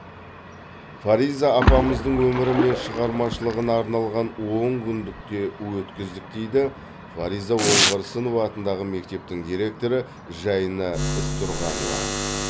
фариза апамыздың өмірі мен шығармашылығына арналған он күндік те өткіздік дейді фариза оңғарсынова атындағы мектептің директоры жайна ізтұрғанова